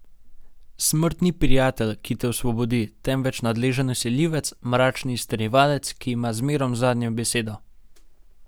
Smrt ni prijatelj, ki te osvobodi, temveč nadležen vsiljivec, mračni izterjevalec, ki ima zmerom zadnjo besedo.